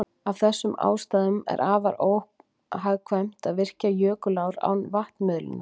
Af þessum ástæðum er afar óhagkvæmt að virkja jökulár án vatnsmiðlunar.